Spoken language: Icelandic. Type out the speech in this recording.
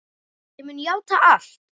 Ég mun játa allt.